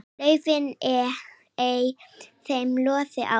laufin ei þeim loði á.